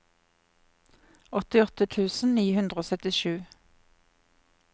åttiåtte tusen ni hundre og syttisju